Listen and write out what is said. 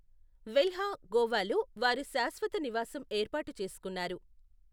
వెల్హా గోవాలో వారు శాశ్వత నివాసం ఏర్పాటు చేసుకున్నారు.